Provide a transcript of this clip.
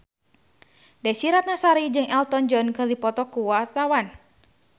Desy Ratnasari jeung Elton John keur dipoto ku wartawan